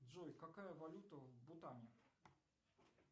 джой какая валюта в бутане